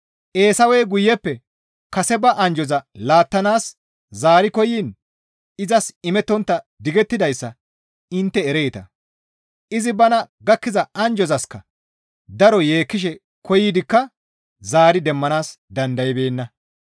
Eesawey guyeppe kase ba anjjoza laattanaas zaari koyiin izas imettontta digettidayssa intte ereeta; izi bana gakkiza anjjozaska daro yeekkishe koyidikka zaari demmanaas dandaybeenna.